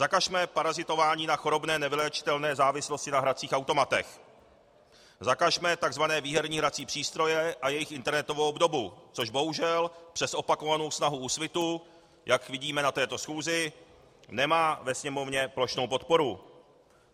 Zakažme parazitování na chorobné nevyléčitelné závislosti na hracích automatech, zakažme tzv. výherní hrací přístroje a jejich internetovou obdobu, což bohužel přes opakovanou snahu Úsvitu, jak vidíme na této schůzi, nemá ve Sněmovně plošnou podporu.